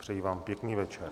Přeji vám pěkný večer.